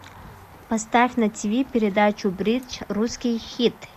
поставь на тиви передачу бридж русский хит